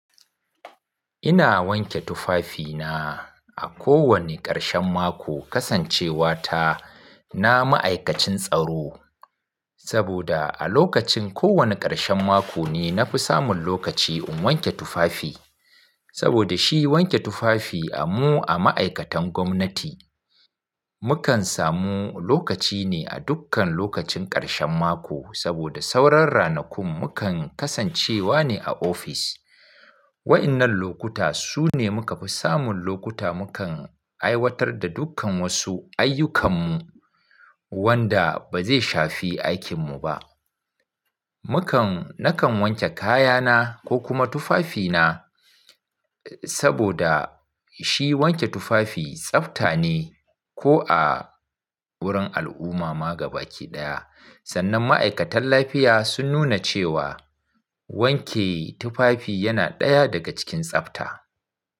Ina wanke tufafina a kowane ƙarshen mako kasancewa ta na ma'aikacin tsaro. Saboda a lokacin kowane ƙarshen mako ne na fi samun lokaci in wanke tufafi. Saboda shi wanke tufafi a mu a ma'aikatan gwamnati, mu kan samu lokaci ne a dukkan lokacin ƙarshen mako saboda sauran ranakun mu kan kasancewa ne a ofis. Wa'yannan lokuta su ne muka fi samun lokuta mukan aiwatar da dukkan wasu ayyukannmu wanda ba zai shafi aikin mu ba. Mukan, nakan wanke kayana ko kuma tufafina, saboda shi wanke tufafi tsafta ne ko a wurin al'umma ma gaba ki ɗaya. Sannan ma'aikatan lafiya sun nuna cewa wanke tufafi yana ɗaya daga cikin tsafta.